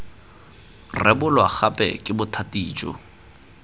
rebolwa gape ke bothati jo